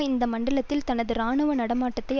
இந்த மண்டலத்தில் தனது இராணுவ நடமாட்டத்தை